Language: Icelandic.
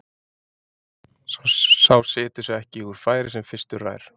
Sá situr sig ekki úr færi sem fyrstur rær.